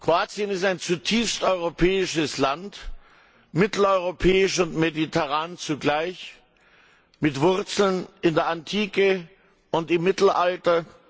Kroatien ist ein zutiefst europäisches Land, mitteleuropäisch und mediterran zugleich, mit Wurzeln in der Antike und im Mittelalter.